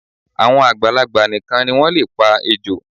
Àwọn àgbàlagbà nìkan ni wọ́n lè pa ejò